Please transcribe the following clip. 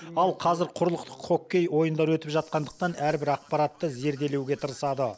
ал қазір құрлықтық хоккей ойындары өтіп жатқандықтан әрбір ақпаратты зерделеуге тырысады